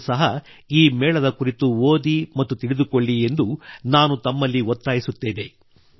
ತಾವೂ ಸಹ ಈ ಮೇಳದ ಕುರಿತು ಓದಿ ಮತ್ತು ತಿಳಿದುಕೊಳ್ಳಿ ಎಂದು ನಾನು ತಮ್ಮಲ್ಲಿ ಒತ್ತಾಯಿಸುತ್ತೇನೆ